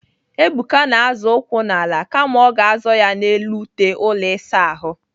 Ebuka na-azọ ụkwụ n'ala kama ọ ga-azọ ya n'elu ute ụlọ ịsa ahụ.